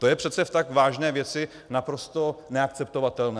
To je přece v tak vážné věci naprosto neakceptovatelné.